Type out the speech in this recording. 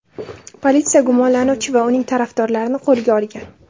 Politsiya gumonlanuvchi va uning tarafdorlarini qo‘lga olgan.